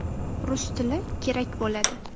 Rus tili kerak bo‘ladi.